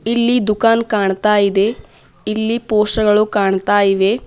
ಇಲ್ಲಿ ದುಕಾನ್ ಕಾಣ್ತಾ ಇದೆ ಇಲ್ಲಿ ಪೋಸ್ಟರ್ ಗಳು ಕಾಣ್ತಾ ಇದೆ.